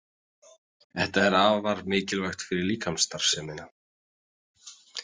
Þetta er afar mikilvægt fyrir líkamsstarfsemina.